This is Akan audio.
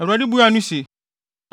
Awurade buaa no se,